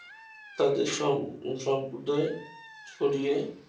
সব উদয় সরিয়ে